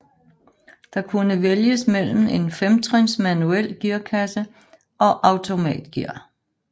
Der kunne vælges mellem en femtrins manuel gearkasse og automatgear